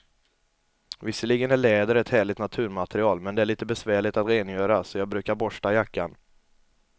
Visserligen är läder ett härligt naturmaterial, men det är lite besvärligt att rengöra, så jag brukar borsta jackan.